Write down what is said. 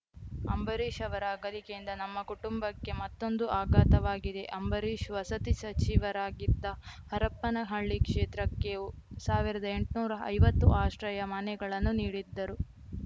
ಅಂಬರೀಷ್‌ ಅವರ ಅಗಲಿಕೆಯಿಂದ ನಮ್ಮ ಕುಟುಂಬಕ್ಕೆ ಮತ್ತೊಂದು ಅಗಾಥವಾಗಿದೆ ಅಂಬರೀಷ್‌ ವಸತಿ ಸಚಿವರಾಗಿದ್ದಾ ಹರಪನಹಳ್ಳಿ ಕ್ಷೇತ್ರಕ್ಕೆ ಸಾವಿರದ ಎಂಟನೂರ ಐವತ್ತು ಆಶ್ರಯ ಮನೆಗಳನ್ನು ನೀಡಿದ್ದರು